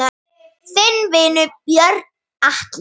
Þinn vinur, Björn Atli.